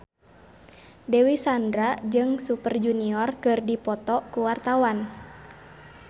Dewi Sandra jeung Super Junior keur dipoto ku wartawan